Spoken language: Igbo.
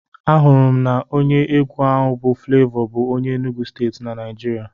Anụrụ m na onye egwu a bụ Flevọ bụ onye Enugwu Steeti na Naijiria.